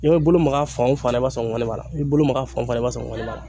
N'i bɛ bolo maga fan o fan na i b'a sɔrɔ ŋɔni b'a la n'i bolo maga fan o fan na i b'a sɔrɔ ŋɔni b'a la.